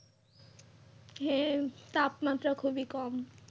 হ্যাঁ তাপমাত্রা খুবই কম।